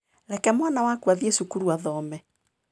Reke mwana waku athiĩ cukuru athome.